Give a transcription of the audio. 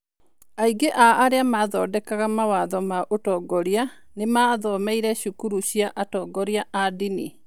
Aingĩ a arĩa maathondekaga mawatho ma ũtongoria nĩ maathomeire cukuru cia atongoria a ndini.